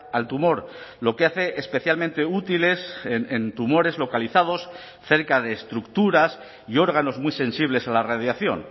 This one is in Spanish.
al tumor lo que hace especialmente útiles en tumores localizados cerca de estructuras y órganos muy sensibles a la radiación